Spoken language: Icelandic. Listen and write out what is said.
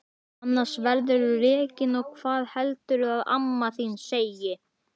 Annars verðurðu rekinn og hvað heldurðu að amma þín segi!